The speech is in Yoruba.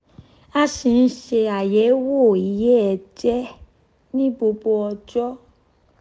a si n ṣe ayẹwo iye ẹjẹ ni gbogbo ọjọ